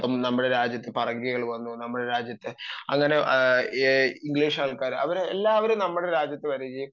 നമ്മുടെ രാജ്യത്തു പറങ്കികൾ വന്നു നമ്മുടെ രാജ്യത്ത് അങ്ങനെ ഇംഗ്ലീഷുകാർ അങ്ങേ എല്ലാ ആളുകളും നമ്മുടെ രാജ്യത്ത് വരികയും